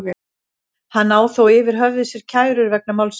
Hann á þó yfir höfði sér kærur vegna málsins.